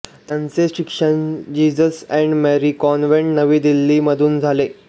त्यांचे शालेय शिक्षण जीझस एंड मेरी कॉन्व्हेंट नवी दिल्ली मधून झाले